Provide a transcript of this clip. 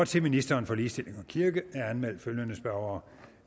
til ministeren for ligestilling og kirke er anmeldt følgende spørgere